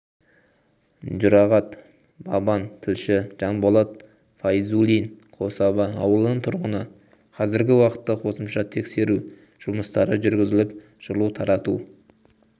жұрағат баман тілші жанболат файзуллин қособа ауылының тұрғыны қазіргі уақытта қосымша текресу жұмыстары жүргізіліп жылу тарату